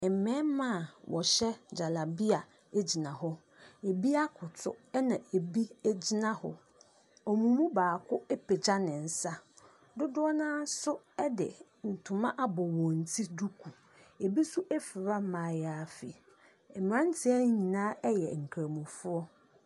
Mmarima a wɔhyɛ gyarabea gyina hɔ. Ebi akoto na ebi gyina hɔ. Wɔn mu baako apagya ne nsa. Dodoɔ no ara nso de ntoma abɔ wɔn ti duku. Ebi nso afura mmaayaafi. Mmeranteɛ yi nyinaa yɛ nkramofoɔ.